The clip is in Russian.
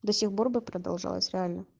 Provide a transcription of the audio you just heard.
до сих пор бы продолжалось реально